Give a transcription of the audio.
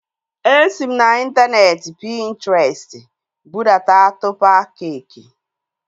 Esi m n'intaneeti Pintrestị budata tọpa keeki